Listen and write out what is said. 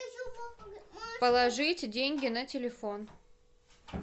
положить деньги на телефон